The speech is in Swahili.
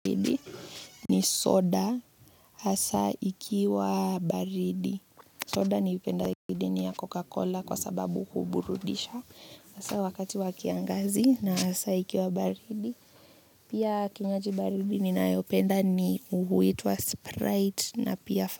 Ni soda, hasa ikiwa baridi. Soda niipendayo zaidi ni ya Coca-Cola kwa sababu huburudisha. Hasa wakati wa kiangazi na hasa ikiwa baridi. Pia kinywaji baridi ninayopenda ni huitwa sprite na pia,